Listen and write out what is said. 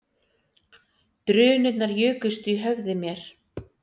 Drunurnar jukust í höfði mér